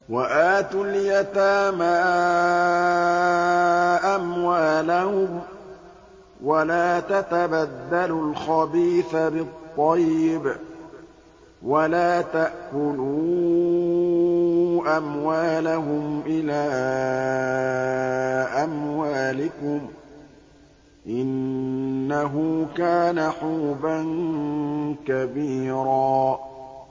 وَآتُوا الْيَتَامَىٰ أَمْوَالَهُمْ ۖ وَلَا تَتَبَدَّلُوا الْخَبِيثَ بِالطَّيِّبِ ۖ وَلَا تَأْكُلُوا أَمْوَالَهُمْ إِلَىٰ أَمْوَالِكُمْ ۚ إِنَّهُ كَانَ حُوبًا كَبِيرًا